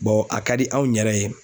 a ka di anw yɛrɛ ye